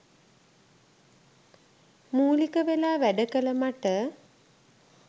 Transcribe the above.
මූලික වෙලා වැඩ කළ මට